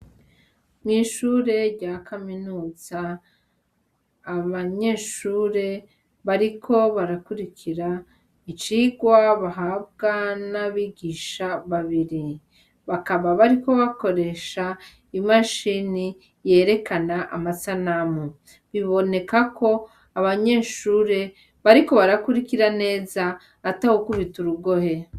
Mwishure rya kaminuza abanyeshure bariko barakurikira icirwa bahabwa n'abigisha babiri, bakaba bariko bakoresha imashini yerekana amasanamu, biboneka ko abanyeshure bariko barakurira neza atanumwe ariko arakubita urugohe.